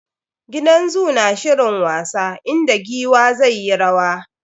Gidan zoo na shirin wasa, inda giwa zai yi rwa.